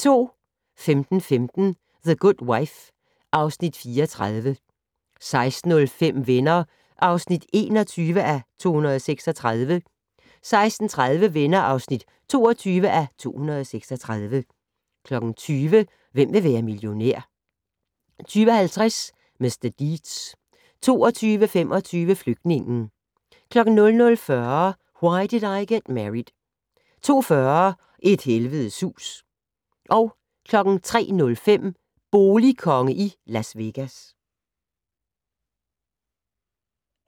15:15: The Good Wife (Afs. 34) 16:05: Venner (21:236) 16:30: Venner (22:236) 20:00: Hvem vil være millionær? 20:50: Mr. Deeds 22:25: Flygtningen 00:40: Why Did I Get Married? 02:40: Et helvedes hus 03:05: Boligkonge i Las Vegas